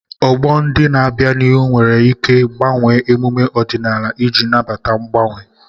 Ọgbọ ndị na-abịa n'ihu nwere ike gbanwee emume ọdịnala iji nabata mgbanwe.